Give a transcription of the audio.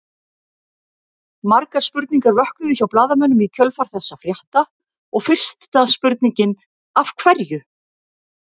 Margar spurningar vöknuðu hjá blaðamönnum í kjölfar þessa frétta og fyrsta spurningin Af hverju?